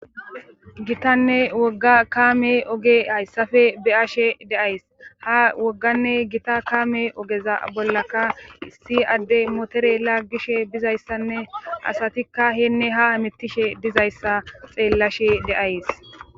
gitanne wogga kaame oge hayssafe beyashe de'ays ha wogganne gita kaame ogeza bollaka issi adde motere laggishe bizayssanne asatikka heenne ha mittishe dizayssa xeellashe de'ays